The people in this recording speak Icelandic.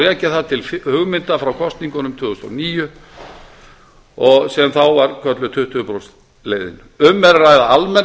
rekja það til hugmynda frá kosningunum tvö þúsund og níu sem þá var kölluð tuttugu prósenta leiðin um er að ræða almennar